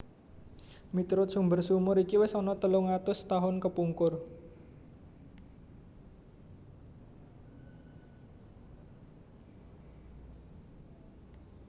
Miturut sumber sumur iki wis ana telung atus tahun kepungkur